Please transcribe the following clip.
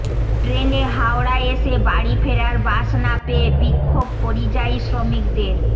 ট্রেনে হাওড়ায় এসে বাড়ি ফেরার বাস না পেয়ে বিক্ষোভ পরিযায়ী শ্রমিকদের